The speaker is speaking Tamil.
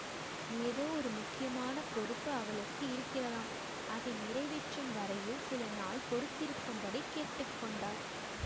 ஏதோ ஒரு முக்கியமான பொறுப்பு அவளுக்கு இருக்கிறதாம் அதை நிறைவேற்றும் வரையில் சில நாள் பொறுத்திருக்கும்படி கேட்டு கொண்டாள்